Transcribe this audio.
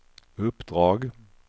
uppdrag